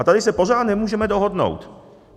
A tady se pořád nemůžeme dohodnout.